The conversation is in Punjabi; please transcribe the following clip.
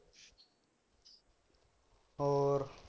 ਹੋਰ